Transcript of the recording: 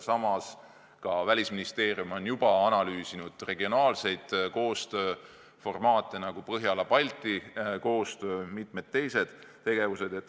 Samas ka Välisministeerium on juba analüüsinud regionaalseid koostööformaate, nagu Põhjala-Balti koostöö ja mitmed teised tegevused.